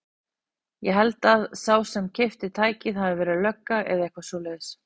Ég held að sá sem keypti tækið hafi verið lögga eða eitthvað svoleiðis.